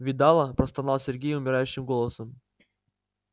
видала простонал сергей умирающим голосом